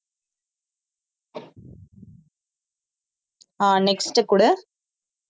ஆஹ் next குடு